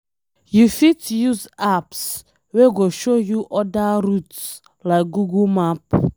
You fit use apps wey go show you oda routes like google map